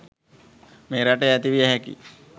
මේ රටේ ඇති විය හැකි යි.